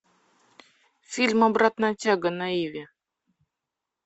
фильм обратная тяга на иви